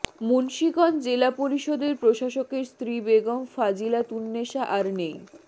মুন্সীগঞ্জ জেলা পরিষদের প্রশাসকের স্ত্রী বেগম ফজিলাতুন্নেসা আর নেই